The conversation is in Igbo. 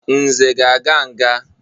Nze ga-aga nga.